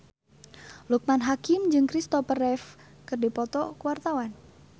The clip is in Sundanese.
Loekman Hakim jeung Christopher Reeve keur dipoto ku wartawan